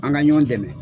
An ka ɲɔn dɛmɛ